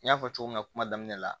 N y'a fɔ cogo min na kuma daminɛ la